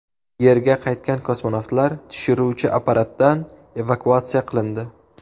Yerga qaytgan kosmonavtlar tushiruvchi apparatdan evakuatsiya qilindi.